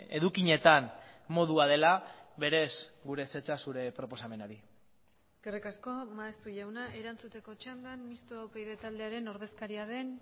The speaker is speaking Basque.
edukietan modua dela berez gure ezetza zure proposamenari eskerrik asko maeztu jauna erantzuteko txandan mistoa upyd taldearen ordezkaria den